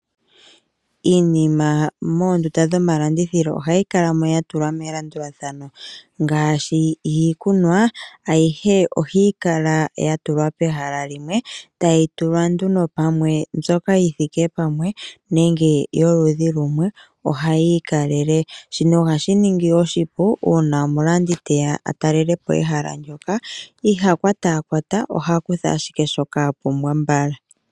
Iinima moondunda dhomalandithilo ohayi kalamo yatulwa melandulathano ngaashi, iikunwa ayihe ohayi kala yatulwa pehala limwe tayi tulwa nduno pamwe mbyoka yithike pamwe nenge yoludhi lumwe ohayi ikalele, shino ohashi ningi oshipu uuna omulandi teya atalele po ehala ndoka, ihakwatakwata ohakutha ashike shoka apumbwa mbala.